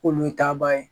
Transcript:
K'olu ye taaba ye